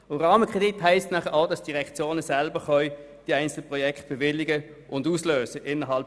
Innerhalb solcher Rahmenkredite können die Direktionen dann auch die einzelnen Projekte selber bewilligen und auslösen.